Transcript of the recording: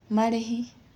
Marĩhi: